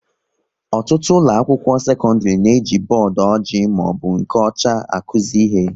Ọtụtụ ụlọ akwụkwọ sekọndrị na-eji bọọdụ ọjị maọbụ nke ọcha akuzi ihe